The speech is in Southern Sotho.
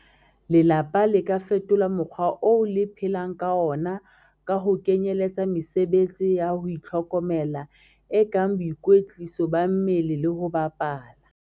Lelapa le ka fetola mokgwa oo le phelang ka ona ka ho kenyeletsa mesebetsi ya ho itlhokomela, e kang boikwetliso ba mmele le ho bapala.